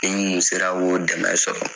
Ni mun sera k'o dɛmɛ sɔrɔ